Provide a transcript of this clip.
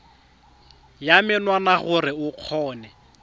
ya menwana gore o kgone